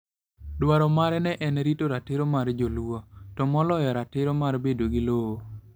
Dwar mare ne en rito ratiro mag joluo, to moloyo ratiro mar bedo gi lowo.